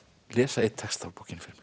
lesa einn texta úr bókinni